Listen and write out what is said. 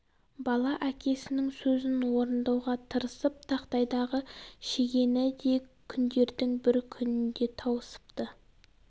бала әкесінің сөзін орындауға тырысып тақтайдағы шегені де күндердің бір күнінде тауысыпты